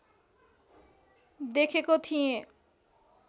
देखेको थिएँ